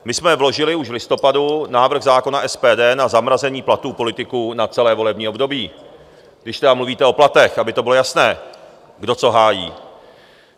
My jsme vložili už v listopadu návrh zákona SPD na zamrazení platů politiků na celé volební období, když tedy mluvíte o platech, aby to bylo jasné, kdo co hájí.